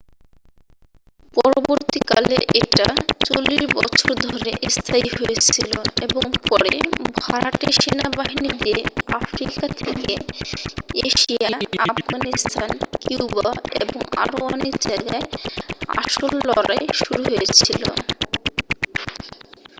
পরবর্তীকালে এটা 40 বছর ধরে স্থায়ী হয়েছিল এবং পরে ভাড়াটে সেনাবাহিনী দিয়ে আফ্রিকা থেকে এশিয়া আফগানিস্তান কিউবা এবং আরও অনেক জায়গায় আসল লড়াই শুরু হয়েছিল